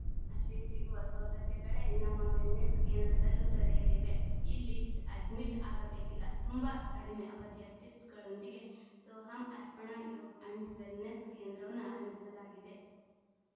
ಅಲ್ಲಿ ಸಿಗುವ ಸೌಲಭ್ಯಗಳೇ ನಮ್ಮ ವೆಲ್‌ನೆಸ್‌ ಕೇಂದ್ರದಲ್ಲೂ ದೊರೆಯಲಿವೆ ಇಲ್ಲಿ ಅಡ್ಮಿಟ್‌ ಆಗಬೇಕಿಲ್ಲ ತುಂಬಾ ಕಡಿಮೆ ಅವಧಿಯ ಟಿಫ್ಸ್‌ಗಳೊಂದಿಗೆ ಸೋಹಮ್‌ ಅರ್ಪಣಾ ಯೋಗ ಅಂಡ್‌ ವೆಲ್‌ನೆಸ್‌ ಕೇಂದ್ರವನ್ನು ಆರಂಭಿಸಲಾಗಿದೆ